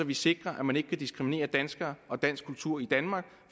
vi sikrer at man ikke kan diskriminere danskere og dansk kultur i danmark